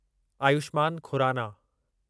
Ayushman Khurana